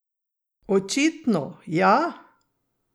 Očitno, ja!